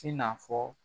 I n'a fɔ